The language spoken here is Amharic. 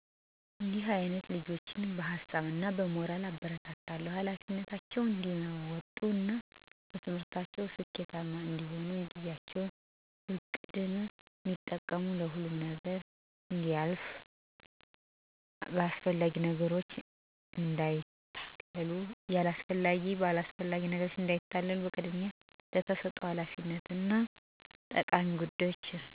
እዲህ አይነት ልጆችን በሀሳብ እና በሞራል አበረታታለሁ። ኃላፊነታቸውን እዲወጡ እና በትምህርታቸው ስኬታማ እንዲሆኑ፦ ጊዜያቸውን በእቅድ እዲጠቀሙ፣ ሁሉም ነገር እደሚልፍ፣ በአላስፈላጊ ነገሮች እዳይታለሉ፣ ቅድሚያ ለተሰጠ ሀላፊነት እና ለትምህርት መስጠት። ሁሉም ነገር የሚያልፍ መሆኑን ማስገንዘብ።